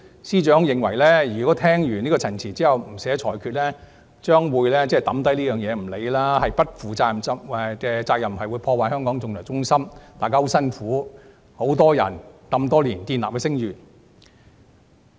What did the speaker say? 司長認為，如果聽完陳辭後不寫裁決，將案件放下不管，是不負責任的做法，會破壞香港國際仲裁中心多年來由多人辛苦建立的聲譽。